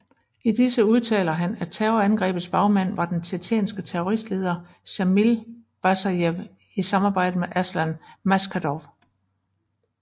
I disse udtaler han at terrorangrebets bagmand var den tjetjenske terroristleder Sjamil Basajev i samarbejde med Aslan Maskhadov